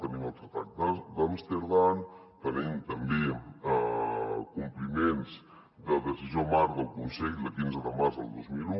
tenim el tractat d’amsterdam tenim també compliments de la decisió marc del consell de quinze de març del dos mil un